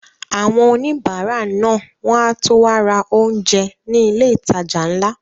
Àwọn òníbárà náà wọ́n á tó wá ra oúnjẹ ní ilé ìtajà ńlá